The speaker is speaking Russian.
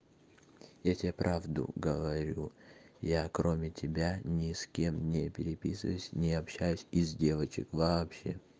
я тебе правду говорю я кроме тебя ни с кем не переписываюсь не общаюсь из девочек вообще